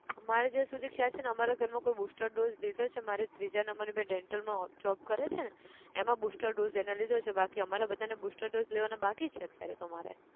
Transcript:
અમારે જ્યાં સુધી ખ્યાલ છે ન અમારા ઘર માં કોઈ એ booster dose લીધો છે મારે ત્રીજા number ની બેન dental માં હો job કરે છે ન એમાં booster dose એને લીધો છે બાકી અમારે બધા ને booster dose લેવાના બાકી છે અત્યારે તો મારે